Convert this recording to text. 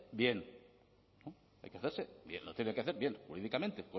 bien hay que hacerse bien lo tiene que hacer bien jurídicamente